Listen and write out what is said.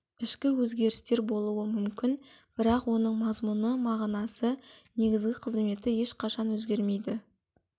ішкі өзгерістер болуы мүмкін бірақ оның мазмұны мағынасы негізгі қызметі ешқашан өзгермейді